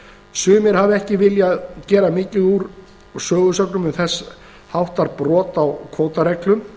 sumir hafa ekki viljað gera mikið úr sögusögnum um þess háttar brot á